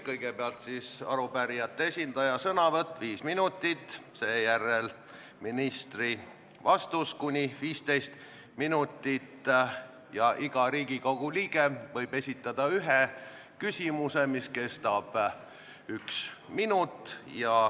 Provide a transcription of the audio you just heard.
Kõigepealt on arupärijate esindaja sõnavõtt 5 minutit, seejärel tuleb ministri vastus kuni 15 minutit ja iga Riigikogu liige võib esitada ühe küsimuse, mis kestab kuni ühe minuti.